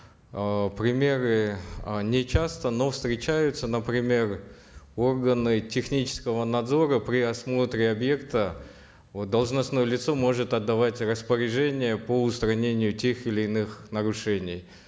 э примеры э нечасто но встречаются например органы технического надзора при осмотре объекта вот должностное лицо может отдавать распоряжения по устранению тех или иных нарушений